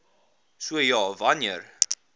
so ja wanneer